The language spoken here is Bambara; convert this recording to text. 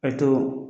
A to